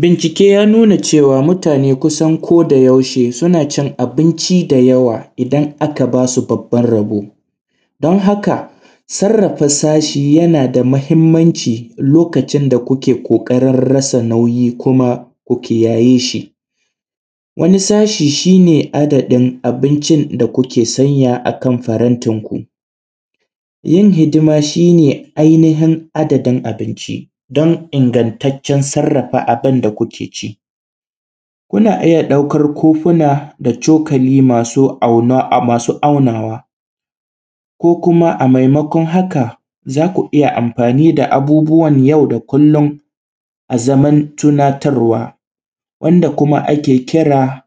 Bincike ya nuna cewa mutane kusan ko da yaushe suna cin abinci da yawa idan aka ba su babban rabo. Don haka, sarafa sashi na da mahimmanci lokacin da kuke ƙoƙarin rasa nauyi ko kiyaye shi. Wani sashi shi ne adadin abincin da kuke sanya farantinku. Yin hidima shi ne ainihin gidan abinci. Domin ingantaccen sarafa abin da kuke ci, kuna iya ɗaukar kofi na da cokali masu aunawa, ko kuma a maimakon haka za ku iya amfani da abubuwan yau da kullun a zamantakewa, wanda kuma ake kira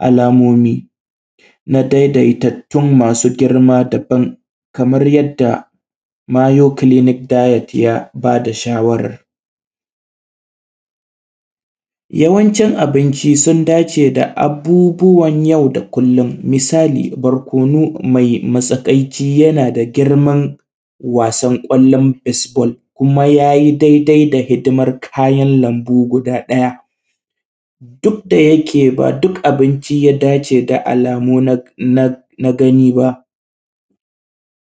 alamomi na daidaituwan masu girma. Kamar yadda 'Mayo Clinic' dayet ya bada shawara, yawancin abinci sun dace da abubuwan yau da kullun. Misali: barkonu me matsakai da girman wasan ƙwallon 'isbol' kuma ya yi daidai da hidimar kayan lambu guda ɗaya duk da take, ba duk abinci yake da alamu na gani ba,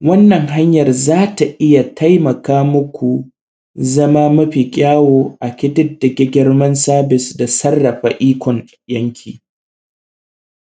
wannan hanyar za ta iya taimaka muku zama mafi kyawu a ƙididdige girman dabis da sarafa ikon gidanki.